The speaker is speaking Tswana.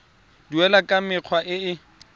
duelwa ka mekgwa e e